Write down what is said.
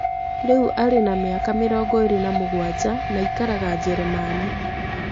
Rĩu arĩ na mĩaka mĩrongo ĩrĩ na mũgwanja na aikaraga Njĩrĩmani.